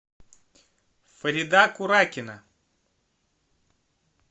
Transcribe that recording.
фарида куракина